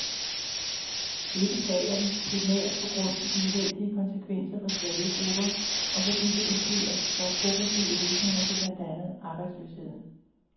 Det beklager vi, primært på grund af de uheldige konsekvenser for svage grupper, og fordi det blokerer for progressive løsninger på blandt andet arbejdsløsheden.